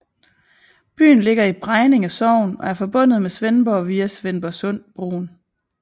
Byen ligger i Bregninge Sogn og er forbundet med Svendborg via Svendborgsundbroen